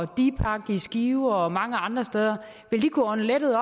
dipak i skive og mange andre steder vil kunne ånde lettet